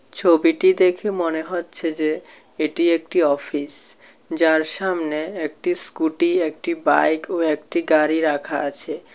ছবিটি দেখে মনে হচ্ছে যে এটি একটি অফিস যার সামনে একটি স্কুটি একটি বাইক ও একটি গাড়ি রাখা আছে।